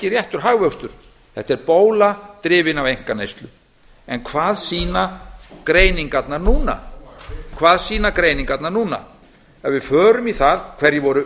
réttur hagvöxtur þetta er bóla drifin af einkaneyslu en hvað sýna greiningarnar núna ef við förum í það hverjir voru